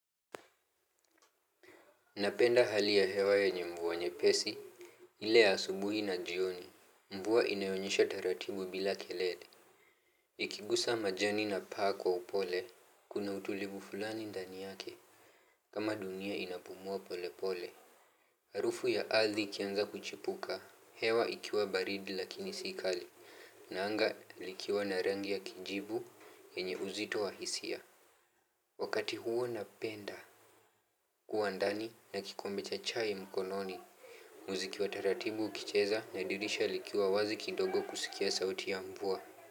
Napenda hali ya hewa yenye mvua nyepesi, ile ya asubuhi na jioni, mvua inayonyesha taratibu bila kelele. Ikigusa majani na paa kwa upole, kuna utulivu fulani ndani yake, kama dunia inapumua pole pole. Harufu ya ardhi ikianza kuchipuka, hewa ikiwa baridi lakini si kali, na anga likiwa na rangi ya kijibu, yenye uzito wa hisia. Wakati huo napenda kuwa ndani na kikombe cha chai mkononi. Muziki wa taratibu ukicheza na dirisha likiwa wazi kidogo kusikia sauti ya mvua.